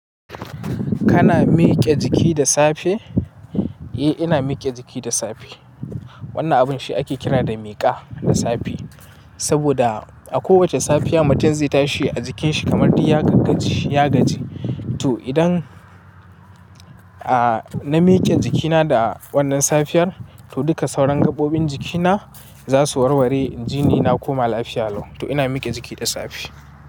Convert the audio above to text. Kana miƙe jiki da safe? Eh ina miƙe jiki da safe. Wannan abun shi ake kira da miƙa na safe, saboda a kowace safiya mutum zai tashi a jikin shi kamar diya gaggaci ya gaji. To idan, a na miƙe jikina da wannan safiyar, to duka sauran gaɓoɓin jikina za su warware jini na koma lafiya lau. To ina mike jiki da safe.